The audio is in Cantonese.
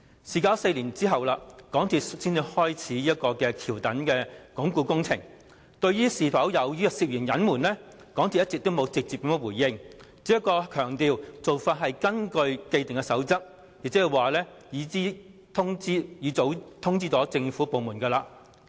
事隔4年，港鐵公司才展開橋躉鞏固工程，對於是否涉嫌隱瞞，港鐵公司一直沒有直接回應，只強調做法是根據既定的守則，亦早已通知政府部門。